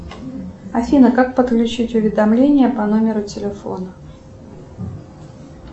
афина как подключить уведомления по номеру телефона